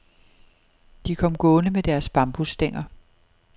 De kom gående med deres bambusstænger.